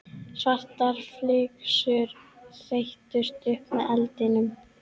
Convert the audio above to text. Svartar flygsur þeyttust upp með eldinum.